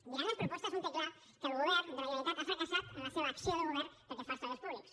mirant les propostes un té clar que el govern de la generalitat ha fracassat en la seva acció de govern pel que fa als treballadors públics